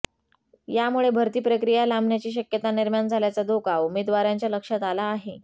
यामुळे भरती प्रक्रिया लांबण्याची शक्यता निर्माण झाल्याचा धोका उमेदवारांच्या लक्षात आला आहे